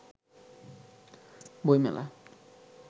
বই মেলা